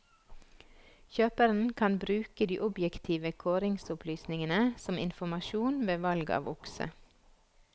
Kjøperen kan bruke de objektive kåringsopplysningene som informasjon ved valg av okse.